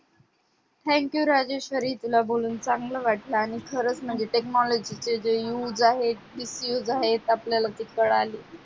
thank you Rajeshwari तुला बोलून चांगलं वाटलं आणि खरच म्हणजे technology चे जे use आहेत misuse आहेत आपल्याला ते कळाले